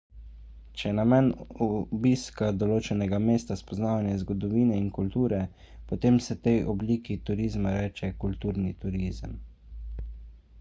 če je namen obiska določenega mesta spoznavanje zgodovine in kulture potem se tej obliki turizma reče kulturni turizem